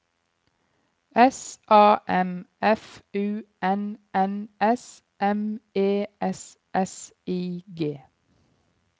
S A M F U N N S M E S S I G